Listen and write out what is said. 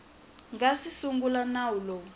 nga si sungula nawu lowu